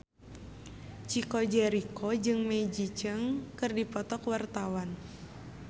Chico Jericho jeung Maggie Cheung keur dipoto ku wartawan